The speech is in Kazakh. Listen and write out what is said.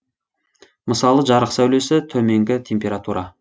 мысалы жарық сәулесі төменгі температура